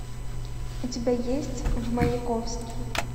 у тебя есть в маяковский